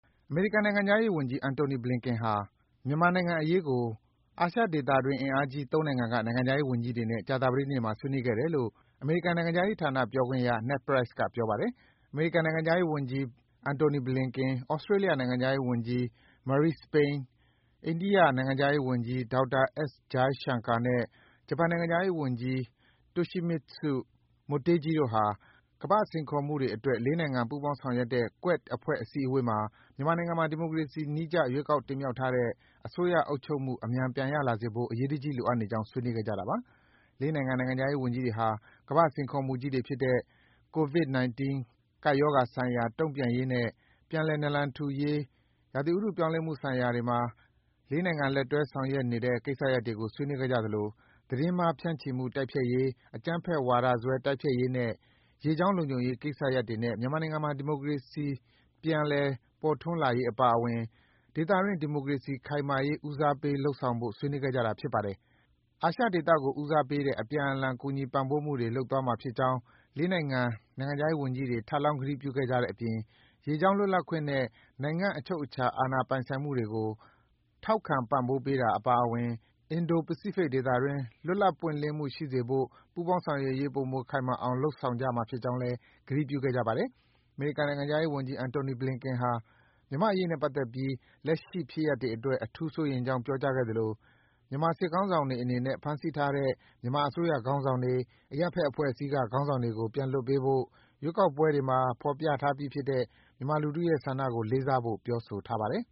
အမေရိကန်နိုင်ငံခြားရေးဝန်ကြီး Antony J. Blinken ဟာ ကြာသပတေးနေ့မှာ မြန်မာနိုင်ငံအရေးကို အာရှဒေသတွင်းအင်အားကြီး နိုင်ငံ ၃ နိုင်ငံက နိုင်ငံခြားရေးဝန်ကြီးတွေနဲ့ ကြာသပတေးနေ့မှာ ဆွေးနွေးခဲ့တယ်လို့ နိုင်ငံခြားရေးဝန်ကြီးဌာန ပြောခွင့်ရ Ned Price က ပြောပါတယ်။ အမေရိကန် နိုင်ငံခြားရေးဝန်ကြီး Antony J. Blinken ၊ Australia နိုင်ငံခြားရေးဝန်ကြီး Marise Payne ၊ အိန္ဒိယ နိုင်ငံခြားရေးဝန်ကြီး Dr. S. Jaishankar နဲ့ ဂျပန် နိုင်ငံခြားရေးဝန်ကြီး Toshimitsu Motegi တို့ဟာ ကမ္ဘာ့စိန်ခေါ်မှုတွေအတွက် ၄ နိုင်ငံ ပူးပေါင်းဆောင်ရွက်တဲ့ Quad အဖွဲ့ အစည်းအဝေးမှာ မြန်မာနိုင်ငံမှာ ဒီမိုကရေစီနည်းကျ ရွေးကောက်တင်မြှောက်ထားတဲ့ အစိုးရအုပ်ချုပ်မှု အမြန်ပြန်ရလာစေဖို့ အရေးတကြီး လိုအပ်နေကြောင်း ဆွေးနွေးခဲ့ကြတာပါ။ ၄ နိုင်ငံ နိုင်ငံခြားရေးဝန်ကြီးတွေဟာ ကမ္ဘာ့စိန်ခေါ်မှုကြီးတွေ ဖြစ်တဲ့ COVID- 19 ကပ်ရောဂါဆိုင်ရာ တုန့်ပြန်ရေးနဲ့ ပြန်လည်နလံထူရေး နဲ့ ဥတုရာသီပြောင်းလဲမှုဆိုင်ရာတွေမှာ ၄ နိုင်ငံ လက်တွဲဆောင်ရွက်နေတဲ့ ကိစ္စရပ်တွေကို ဆွေးနွေးခဲ့ကြသလို သတင်းမှား ဖြန့်ချီမှု တိုက်ဖျက်ရေး၊ အကြမ်းဖက်ဝါဒစွဲ တိုက်ဖျက်ရေးနဲ့ ရေကြောင်းလုံခြုံရေး ကိစ္စရပ်တွေနဲ့ မြန်မာနိုင်ငံမှာ ဒီမိုကရေစီ အစိုးရပြန် ပေါ်ထွန်းလာရေး အပါအဝင် ဒေသတွင်း ဒီမိုကရေစီ ခိုင်မာရေး ဦးစားပေးလုပ်ဆောင်ဖို့ ဆွေးနွေးခဲ့ကြတာ ဖြစ်ပါတယ်။ အာရှဒေသကို ဦးစားပေးတဲ့ အပြန်အလှန်ကူညီပံ့ပိုးမှု တွေ လုပ်သွားမှာ ဖြစ်ကြောင်း ၄ နိုင်ငံ နိုင်ငံခြားရေးဝန်ကြီးတွေ ထပ်လောင်း ကတိပြုခဲ့ကြတဲ့အပြင် ရေကြောင်း လွတ်လပ်ခွင့်နဲ့ နိုင်ငံ့အချုပ်အချာအာဏာပိုင်ဆိုင်မှု တွေကို ထောက်ခံပံ့ပိုးပေးတာ အပါအဝင် အင်ဒို- ပစိဖိတ်ဒေသတွင်း လွတ်လပ်ပွင့်လင်းမှုရှိစေဖို့ ပူးပေါင်းဆောင်ရွက်ရေး ပိုမိုခိုင်မာအောင် လုပ်ဆောင်မှာ ဖြစ်ကြောင်းလည်း ကတိပြုခဲ့ကြပါတယ်။ အမေရိကန်နိုင်ငံခြားရေးဝန်ကြီး Anthony Blinken ဟာ မြန်မာ့အရေးနဲ့ ပတ်သက်ပြီး လက်ရှိဖြစ်ရပ်တွေအတွက် အထူးစိုးရိမ်ကြောင်း ပြောကြားခဲ့သလို မြန်မာစစ်ခေါင်းဆောင်တွေအနေနဲ့ ဖမ်းဆီးထားတဲ့ မြန်မာအစိုးရခေါင်းဆောင်တွေ အရပ်ဘက်အဖွဲ့ အစည်းခေါင်းဆောင်တွေအားလုံးကို လွှတ်ပေးဖို့၊ ရွေးကောက်ပွဲတွေမှာ ဖော်ပြထားပြီးဖြစ်တဲ့ မြန်မာလူထုရဲ့ဆန္ဒကို လေးစားဖို့ ပြောဆိုထားပါတယ်